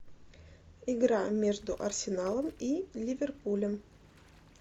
игра между арсеналом и ливерпулем